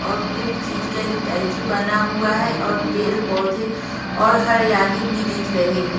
और कुछ चीज का स्टैचू बना हुआ है और पेर पौधे और हरियाली भी दिख रही है।